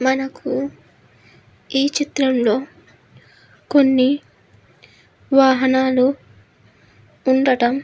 మనకు ఈ చిత్రంలో కొన్ని వాహనాలు ఉండటం --